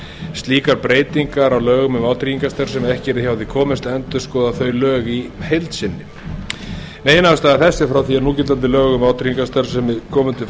slíkar breytingar á lögum um vátryggingastarfsemi að ekki yrði hjá því komist að endurskoða þau lög í heild sinni meginástæða þess er að frá því núgildandi lög um vátryggingastarfsemi komu til